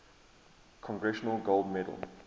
congressional gold medal